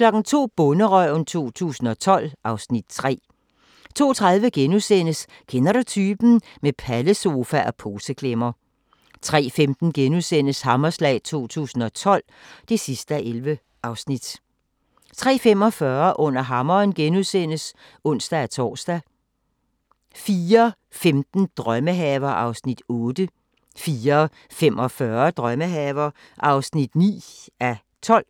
02:00: Bonderøven 2012 (Afs. 3) 02:30: Kender du typen? – Med pallesofa og poseklemmer * 03:15: Hammerslag 2012 (11:11)* 03:45: Under hammeren *(ons-tor) 04:15: Drømmehaver (8:12) 04:45: Drømmehaver (9:12)